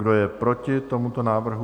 Kdo je proti tomuto návrhu?